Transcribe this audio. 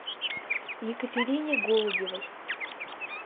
екатерине голубевой